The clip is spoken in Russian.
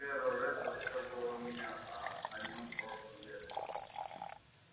кэро рэтт рассказывала мне о нем прошлым летом